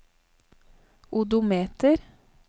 odometer